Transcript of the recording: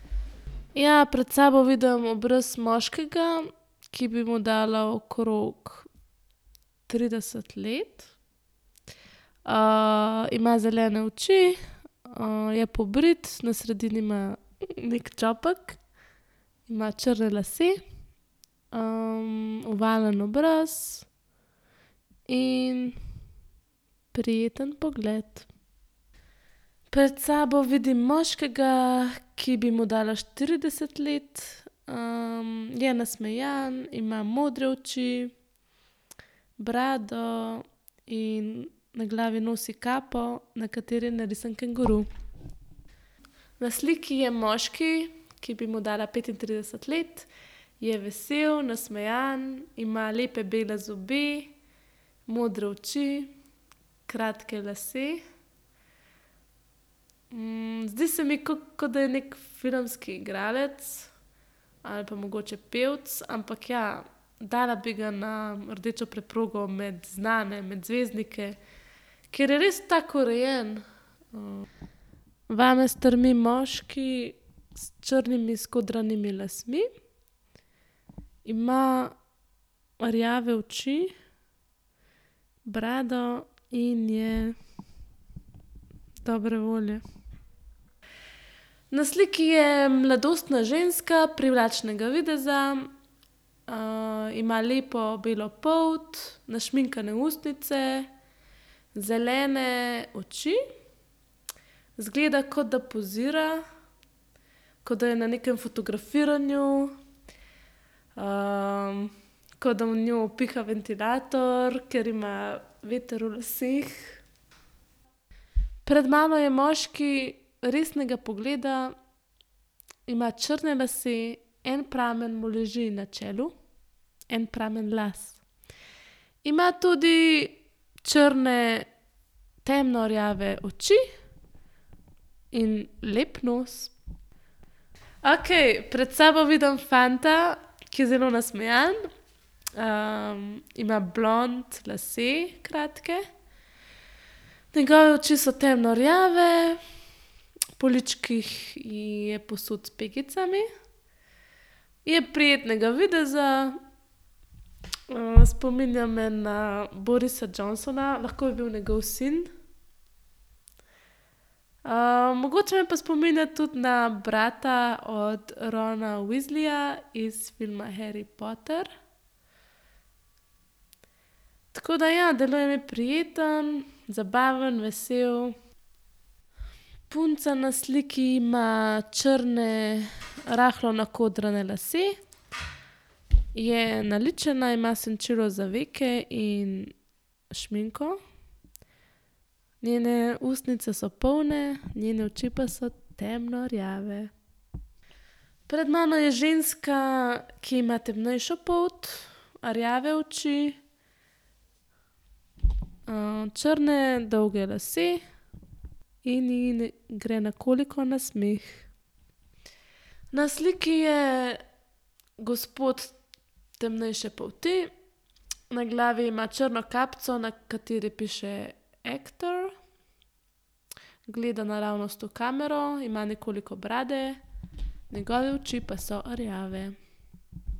Ja, pred sabo vidim obraz moškega, ki bi mu dala okrog trideset let. ima zelene oči, je pobrit, na sredini ima neki čopek. Ima črne lase, ovalen obraz in prijeten pogled. Pred sabo vidim moškega, ki bi mu dala štirideset let. je nasmejan, ima modre oči, brado in na glavi nosi kapo, na kateri je narisan kenguru. Na sliki je moški, ki bi mu dala petintrideset let. Je vesel, nasmejan, ima lepe bele zobe, modre oči, kratke lase. zdi se mi, ko da je neki filmski igralec ali pa mogoče pevec. Ampak ja, dala bi ga na rdečo preprogo med znane, med zvezdnike, ker je res tak, urejen. Vame strmi moški s črnimi skodranimi lasmi. Ima rjave oči, brado in je dobre volje. Na sliki je mladostna ženska privlačnega videza. ima lepo belo polt, našminkane ustnice, zelene oči. Izgleda, kot da pozira, kot da je na nekem fotografiranju. kot da v njo piha ventilator, ker ima veter v laseh. Pred mano je moški resnega pogleda. Ima črne lase, en pramen mu leži na čelu, en pramen las. Ima tudi črne, temno rjave oči in lep nos. Okej, pred sabo vidim fanta, ki je zelo nasmejan. ima blond lase, kratke. Njegove oči so temno rjave, po ličkih je posut s pegicami. Je prijetnega videza, spominja me na Borisa Johnsona, lahko bi bil njegov sin. mogoče me pa spominja tudi na brata od Rona Weasleyja iz filma Harry Potter. Tako da ja, deluje mi prijeten, zabaven, vesel. Punca na sliki ima črne, rahlo nakodrane lase. Je naličena, ima senčilo za veke in šminko. Njene ustnice so polne, njene oči pa so temno rjave. Pred mano je ženska, ki ima temnejšo polt, rjave oči, črne dolge lase in ji gre nekoliko na smeh. Na sliki je gospod temnejše polti. Na glavi ima črno kapico, na kateri piše ekter. Gleda naravnost v kamero, ima nekoliko brade, njegove oči pa so rjave.